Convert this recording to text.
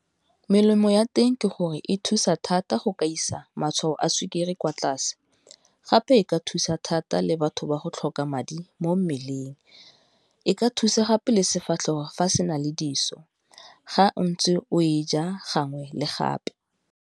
Melemo ya teng ke gore e thusa thata go ka isa matshwao a sukiri kwa tlase, gape e ka thusa thata le batho ba go tlhoka madi mo mmeleng, e ka thusa gape le sefatlhego fa se na le dithuso ga o ntse o e ja gangwe le gape.